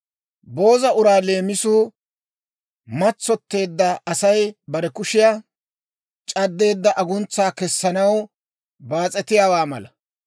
Booza uraa leemisuu matsotteedda Asay bare kushiyaa c'addeedda aguntsaa kessanaw baas'etiyaawaa mala.